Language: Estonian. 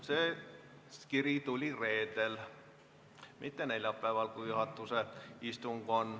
See kiri tuli reedel, mitte neljapäeval, kui oli juhatuse istung.